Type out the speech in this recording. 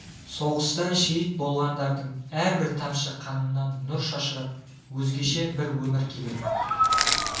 соғыста шейіт болғандардың әрбір тамшы қанынан нұр шашырап өзгеше бір өмір келер